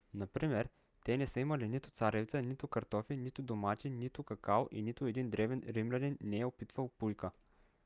например те не са имали нито царевица нито картофи нито домати нито какао и нито един древен римлянин не е опитвал пуйка